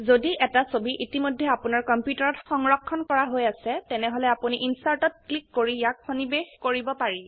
যদি এটা ছবি ইতিমধেয় আপোনাৰ কম্পিউটাৰত সংৰক্ষন কৰা হৈ আছে তেনেহলে আপোনি ইনচাৰ্ট ত ক্লিক কৰি ইয়াক সন্নিবেষ কৰিব পাৰি